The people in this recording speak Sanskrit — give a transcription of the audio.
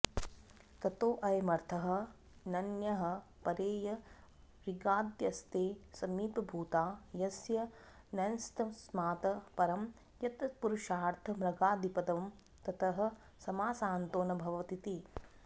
ततोऽयमर्थः नञः परे य ऋगादयस्ते समीपभूता यस्य नञस्तस्मात् परं यत्तत्पुरुषार्थमृगादिपदं ततः समासान्तो न भवतीति